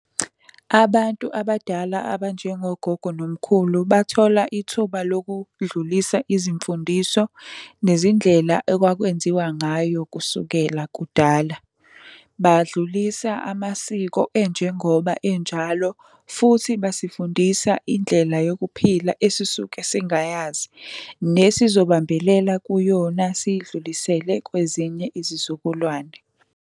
Abantu abadala abanjengo gogo nomkhulu bathola ithuba lokudlulisa izimfundiso, nezindlela okwakwenziwa ngayo kusukela kudala. Badlulisa amasiko enjengoba enjalo futhi basifundisa indlela yokuphila esisuke singayazi. Nesizobambelela kuyona, siyidlulisele kwezinye izizukulwane.